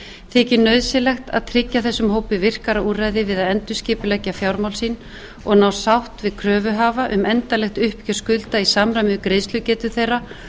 þykir nauðsynlegt að tryggja þessum hópi virkara úrræði við að endurskipuleggja fjármál sín og ná sátt við kröfuhafa um endanlegt uppgjör skulda í samræmi við greiðslugetu þeirra